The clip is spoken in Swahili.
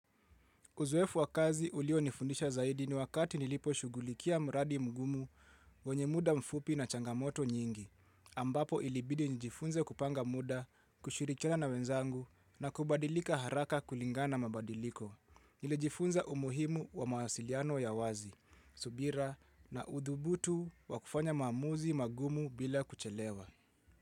Uzoefu wa kazi ulionifundisha zaidi ni wakati niliposhughulikia mradi mgumu wenye muda mfupi na changamoto nyingi. Ambapo ilibidi njifunze kupanga muda, kushirikiana na wenzangu na kubadilika haraka kulingana na mabadiliko. Nili jifunza umuhimu wa mawasiliano ya wazi, subira na udhubutu wa kufanya maamuzi magumu bila kuchelewa.